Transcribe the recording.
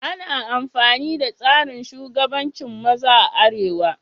Ana amfani da tsarin shugabancin maza a arewa.